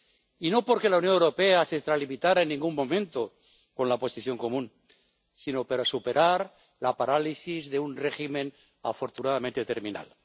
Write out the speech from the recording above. Y no porque la Unión Europea se extralimitara en ningún momento con la Posición Común, sino para superar la parálisis de un régimen afortunadamente terminal.